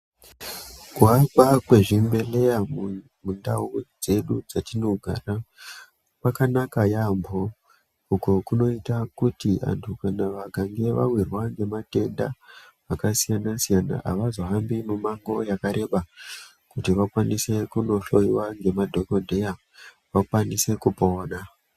Kuakwa kwezvibhedhleya mu mundau dzedu dzatinogara kwakanaka yaampo uku kunoita kuti vantu kana vakange vawirwa ngematenda akasiyana siyana avazohambi mumango yakareba kuti vakwanise kunohloiwa ngemadhokodheya vakwanise kupona .